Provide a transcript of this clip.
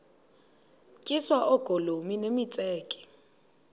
tyiswa oogolomi nemitseke